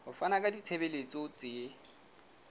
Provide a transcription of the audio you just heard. ho fana ka ditshebeletso tse